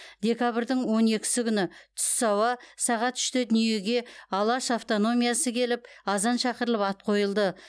декабрьдің он екісі күні түс ауа сағат үште дүниеге алаш автономиясы келіп азан шақырылып ат қойылды